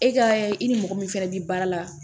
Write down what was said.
E ka i ni mɔgɔ min fɛnɛ bi baara la